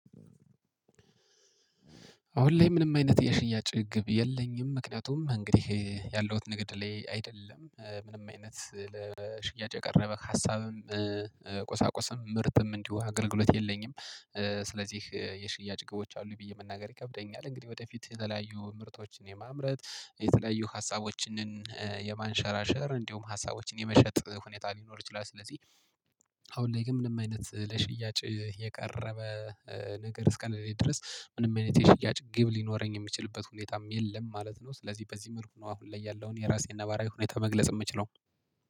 አሁን ላይ ምንም አይነት የሽያጭ ግብ የለኝም ምክንያቱም እንግዲህ ያለሁት ንግድ ላይ አይደለም ምንም አይነት ለሽያጭ የቀረበ ሀሳብም ቁሳቁስም ምርትም እንዲሁ አገልግሎት የለኝም። ስለዚህ የሽያጭ ግቦች አሉ ብዬ መናገር ይከብደኛል። እንግዲህ ወደፊት የተለያዩ ምርቶችን የማምረት የተለያዩ ሀሳቦችን የማንሸራሸር እንዲሁም ሀሳቦችን የመሸጥ ሁኔታ ሊኖር ይችላል። ስለዚህ አሁን ላይ ግን ምንም የሽያጭ የቀረበ ነገር እስከለለኝ ድረስ ምንም አይነት የሽያጭ ግብ ሊኖረኝ የሚችልበት ነገር የለም። ስለዚህ በዚህ መልኩ ነው አሁን ላይ ያለውን የራሴን ነባራዊ ሁኔታ መግለጽ የምችለው